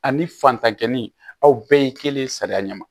Ani fantankɛni aw bɛɛ ye kelen sariya ɲɛma